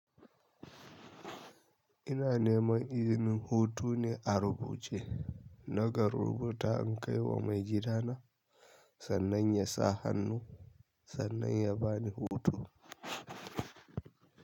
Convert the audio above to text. Ina neman izinin hutune a rubuce. Naka rubuta in kaiwa maigidana sannna yasa hannu sannna ya bani hutu.